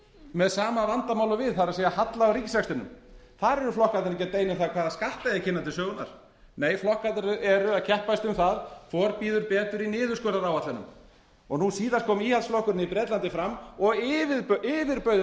með sama vandamál og við það er halla á ríkisrekstrinum þar eru flokkarnir ekki að deila um hvaða skatta eigi að kynna til sögunnar nei flokkarnir eru að keppast um það hvor býður betur í niðurskurðaráætlunum nú síðast kom íhaldsflokkurinn í bretlandi fram og yfirbauð